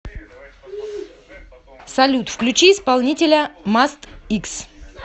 салют включи исполнителя маст икс